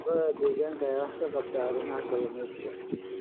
Khubarada deegaanka ayaa wax ka qabta arrimaha kalluumeysiga.